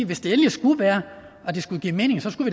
hvis det endelig skulle være og det skulle give mening skulle